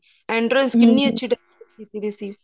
entrance ਕਿੰਨੀ ਅੱਛੀ decorate ਕੀਤੀ ਗਈ ਸੀ